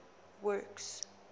works